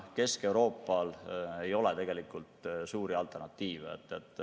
Kesk-Euroopal ei ole tegelikult suuri alternatiive.